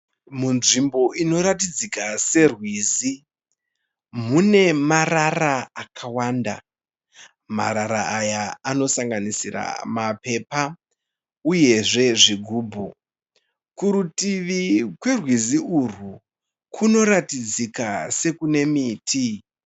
Mudzvimbo munoratidzika serwizi. Mune marara akawanda. Marara aya anosanganisira mapepa uyezve zvigubhu. Kurutivi kwerwizi urwu kunoratidzika sekune miti.